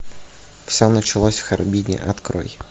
все началось в харбине открой